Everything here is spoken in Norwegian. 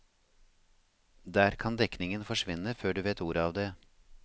Der kan dekningen forsvinne før du vet ordet av det.